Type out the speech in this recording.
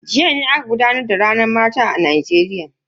Jiya ne aka gudanar da ranar mata ta duniya.